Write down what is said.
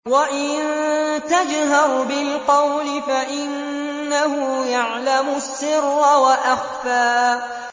وَإِن تَجْهَرْ بِالْقَوْلِ فَإِنَّهُ يَعْلَمُ السِّرَّ وَأَخْفَى